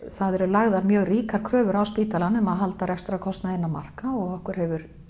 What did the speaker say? það eru lagðar mjög ríkar kröfur á spítalann að halda rekstrarkostnaði innan marka og okkur hefur